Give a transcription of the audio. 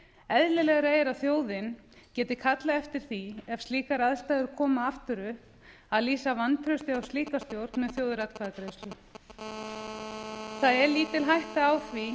eðlilegra er að þjóðin geti kallað eftir því ef slíkar aðstæður koma aftur upp að lýsa vantrausti á slíka stjórn með þjóðaratkvæðagreiðsla það er lítil hætta á því